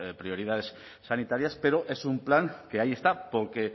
prioridades sanitarias pero es un plan que ahí está porque